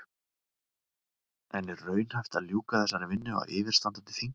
En er raunhæft að ljúka þessari vinnu á yfirstandandi þingi?